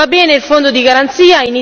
Va bene il Fondo di garanzia.